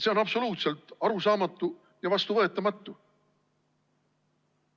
See on absoluutselt arusaamatu ja vastuvõetamatu.